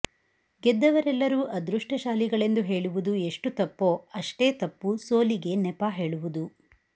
ಗೆದ್ದವರೆಲ್ಲರೂ ಅದೃಷ್ಟಶಾಲಿ ಗಳೆಂದು ಹೇಳುವುದು ಎಷ್ಟು ತಪ್ಪೋ ಅಷ್ಟೇ ತಪ್ಪುಸೋಲಿಗೆ ನೆಪ ಹೇಳುವುದು